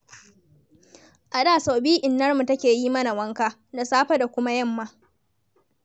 A da sau biyu innarmu take yi mana wanka, da safe da kuma yamma.